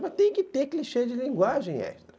Mas tem que ter clichê de linguagem, Esdras.